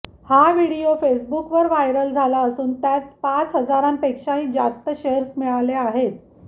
हा व्हिडिओ फेसबुकवर व्हायरल झाला असून त्यास पाच हजारांपेक्षाही जास्त शेअर्स मिळाले आहेत